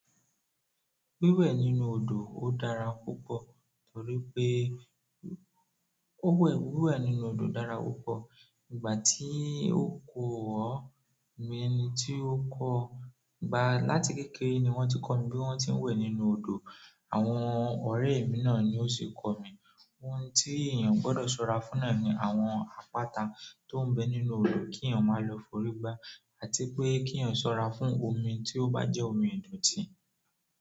Wíwẹ̀ nínú odò ó dára púpọ̀ torí pé ó wẹ̀, wíwẹ̀ nínú odò dára púpọ̀. Ìgbà tí ó kò wọ̀, mi ẹni tí ó kọ́, ìgbà láti kékeré ni wọ́n ti kọ́ mi bí wọ́n ti ń wẹ̀ nínú odò. Àwọn ọ̀rẹ́ mi náà ni ó ṣi kọ́ mi. Ohun tí èèyàn gbọ́dọ̀ ṣọ́ra fún náà ni àwọn àpáta tó ń bẹ nínú odò kí èèyàn máa lọ forí gbá àti pé kí èèyàn ṣọ́ra fún omi tí ó bá jẹ́ omi ìdọ̀tí.